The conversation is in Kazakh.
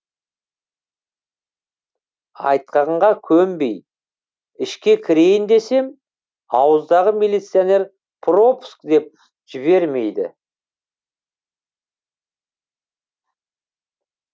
айтқанға көнбей ішке кірейін десем ауыздағы милиционер пропуск деп жібермейді